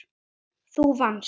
Þú vannst.